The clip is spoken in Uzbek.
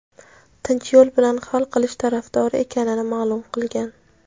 tinch yo‘l bilan hal qilish tarafdori ekanini ma’lum qilgan.